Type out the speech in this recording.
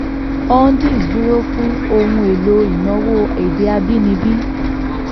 hundis dúró fún ohun èlò ìnáwó èdè abínibí.